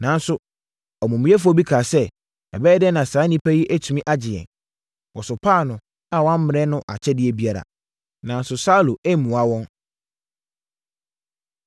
Nanso, amumuyɛfoɔ bi kaa sɛ, “Ɛbɛyɛ dɛn na saa onipa yi atumi agye yɛn?” Wɔsopaa no a wɔammrɛ no akyɛdeɛ biara. Nanso Saulo ammua wɔn.